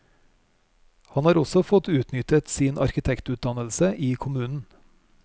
Han har også fått utnyttet sin arkitektutdannelse i kommunen.